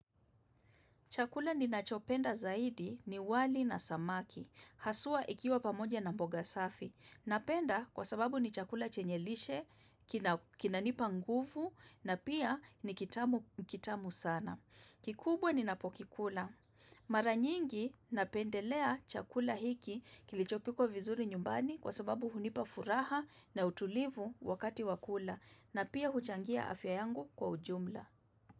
Chakula ni nachopenda zaidi ni wali na samaki. Hasua ikiwa pamoja na mboga safi. Napenda kwa sababu ni chakula chenye lishe, kinanipa nguvu, na pia ni kitamu sana. Kikubwa ni napokikula. Mara nyingi napendelea chakula hiki kilichopikwa vizuri nyumbani kwa sababu hunipa furaha na utulivu wakati wakula. Na pia huchangia afya yangu kwa ujumla.